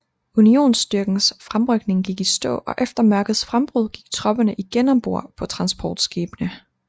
Unionsstyrkens fremrykning gik i stå og efter mørkets frembrud gik tropperne igen om bord på transportskibene